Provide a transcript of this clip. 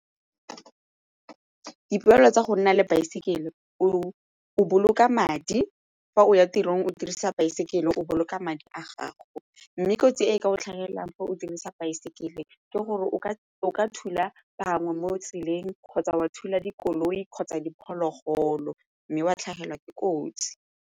Ditlwaelo tsa go nna le baesekele o o boloka madi fa o ya tirong o dirisa baesekele o boloka madi a gago mme kotsi e ka o tlhagelelang o dirisa baesekele ke gore o ka thula bangwe mo tseleng kgotsa wa thula dikoloi kgotsa diphologolo mme wa tlhagelwa ke kotsi.